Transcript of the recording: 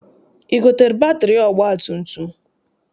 I gotere batịrị ọgbatumtum?